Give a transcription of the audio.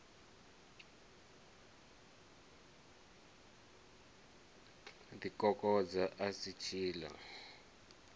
ḓi kokodza a si tshiḽa